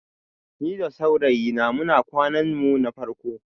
Ni da saurayina muna kwanan mu na farko